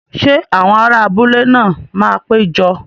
Ṣé àwọn ará abúlé náà máa pé jọ?